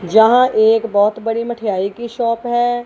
जहां एक बहोत बड़ी मिठाई की शॉप है।